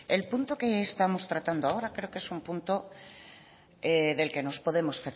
el punto que estamos tratando ahora creo que es un punto del que nos podemos